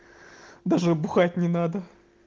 даже бухать не надо